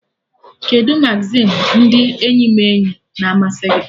Kedụ magazin ndị eyimeeyi na-amasị gị?